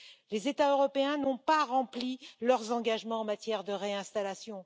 Les États européens n'ont pas rempli leurs engagements en matière de réinstallation.